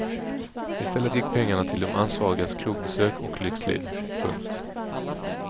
I stället gick pengarna till de ansvarigas krogbesök och lyxliv. punkt